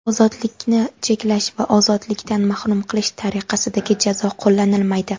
ozodlikni cheklash va ozodlikdan mahrum qilish tariqasidagi jazo qo‘llanilmaydi.